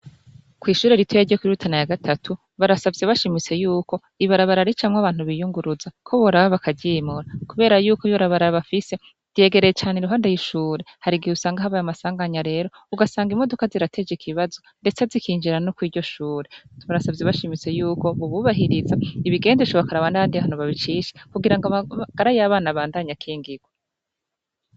Kw'ishure rituya ryo kwirutana ya gatatu barasavye bashimise yuko ibarabararicamwo abantu biyunguruza ko boraba bakajimura, kubera yuko ibarabararbafise ryegereye cane i ruhande yishure harigihe usanga ahabaye amasanganya rero ugasanga imoduka zirateje ikibibazo, ndetse azikinjira no kw iryo shure tumarasavye bashimise yuko bububahiriza ibigende shobakaa banadihano babicisha kugira ngo amaagara y'abana bandanye akengirwa.